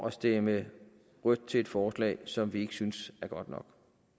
at stemme rødt til et forslag som vi ikke syntes var godt nok